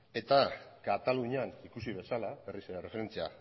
eta katalunian ikusi bezala berriz ere erreferentzia